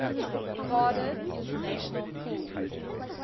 cardiff international pool